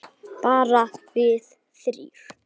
Bara við þrír.